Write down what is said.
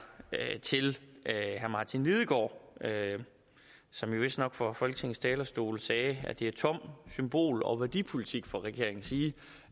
til herre martin lidegaard som vistnok fra folketingets talerstol sagde at det er tom symbol og værdipolitik fra regeringens side